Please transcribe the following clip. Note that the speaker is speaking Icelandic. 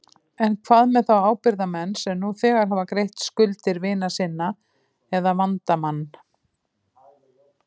En hvað með þá ábyrgðarmenn sem nú þegar hafa greitt skuldir vina sinna eða vandamann?